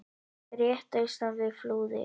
rétt austan við Flúðir.